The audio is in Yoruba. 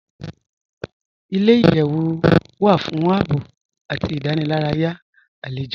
Ilẹ̀-iyẹ̀wù wà fún ààbọ̀ àti ìdánìlàràyà alẹ́jọ́